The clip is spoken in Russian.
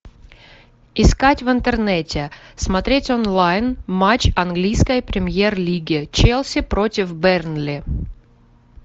искать в интернете смотреть онлайн матч английской премьер лиги челси против бернли